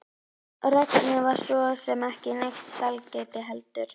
Regnið var svo sem ekki neitt sælgæti heldur.